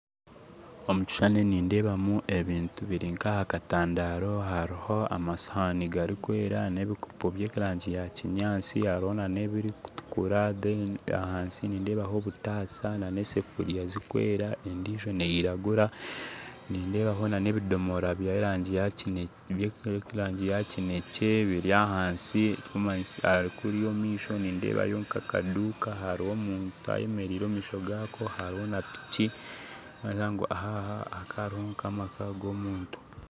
Omu kishushani nindeebaho ebintu biri nk'aha katandaro hariho amasowaani garikwera n'ebikopo by'erangi ya kinyaatsi hariho n'ebirikutukura ahansi nindeebaho obutaasa n'esefuriya zirikwera endijo neiragura nindeebaho n'ebidomora by'erangi ya kinekye biri ahansi kuriya omumaisho nindeebayo nk'akaduuka hariho omuntu ayemereire omumaisho gaako hariho na piki kandi aha n'amaka g'omuntu